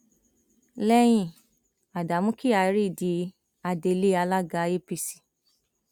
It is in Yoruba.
lẹyìn ádámù kyari di adelé alága apc